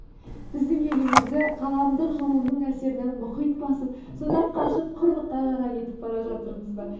біздің елімізді ғаламдық жылуының әсерінен мұхит басып содан қашып құрылыққа қарай кетіп бара жатырмыз ба